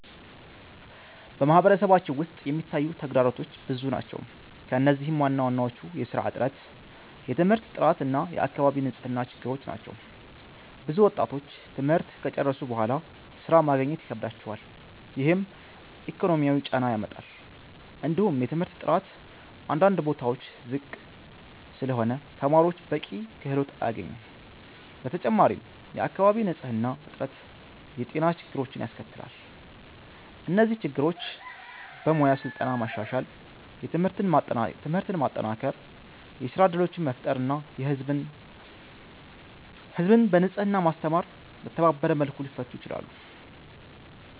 በማህበረሰባችን ውስጥ የሚታዩ ተግዳሮቶች ብዙ ናቸው፣ ከእነዚህም ዋናዎቹ የሥራ እጥረት፣ የትምህርት ጥራት እና የአካባቢ ንጽህና ችግሮች ናቸው። ብዙ ወጣቶች ትምህርት ከጨረሱ በኋላ ሥራ ማግኘት ይከብዳቸዋል፣ ይህም ኢኮኖሚያዊ ጫና ያመጣል። እንዲሁም የትምህርት ጥራት አንዳንድ ቦታዎች ዝቅ ስለሆነ ተማሪዎች በቂ ክህሎት አያገኙም። በተጨማሪም የአካባቢ ንጽህና እጥረት የጤና ችግሮችን ያስከትላል። እነዚህ ችግሮች በሙያ ስልጠና ማሻሻል፣ ትምህርትን ማጠናከር፣ የሥራ እድሎችን መፍጠር እና ህዝብን በንጽህና ማስተማር በተባበረ መልኩ ሊፈቱ ይችላሉ።